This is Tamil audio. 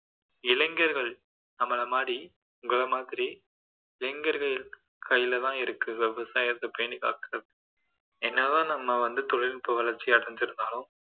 இளைஞர்கள் நம்மள மாதிரி உங்கள மாதிரி இளைஞர்கள் கையிலதான் இருக்கு விவசாயத்தை பேணி காக்குறது என்னதான் நம்ம வந்து தொழில்நுட்ப வளர்ச்சி அடைஞ்சிருந்தாலும்